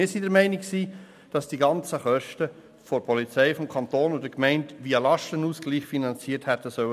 Wir waren der Meinung, dass die Kosten der Polizei vom Kanton und von den Gemeinden via Lastenausgleich hätten finanziert werden sollen.